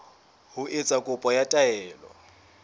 ho etsa kopo ya taelo